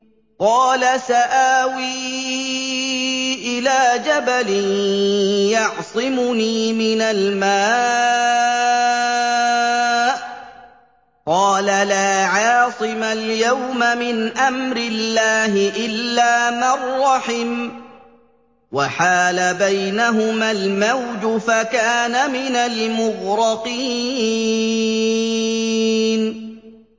قَالَ سَآوِي إِلَىٰ جَبَلٍ يَعْصِمُنِي مِنَ الْمَاءِ ۚ قَالَ لَا عَاصِمَ الْيَوْمَ مِنْ أَمْرِ اللَّهِ إِلَّا مَن رَّحِمَ ۚ وَحَالَ بَيْنَهُمَا الْمَوْجُ فَكَانَ مِنَ الْمُغْرَقِينَ